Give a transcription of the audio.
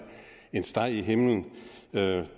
en steg i himlen